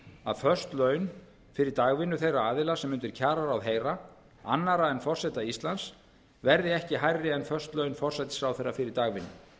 að föst laun fyrir dagvinnu þeirra aðila sem undir kjararáð heyra annarra en forseta íslands verði ekki hærri en föst laun forsætisráðherra fyrir dagvinnu